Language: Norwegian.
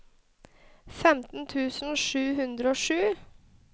femten tusen sju hundre og sju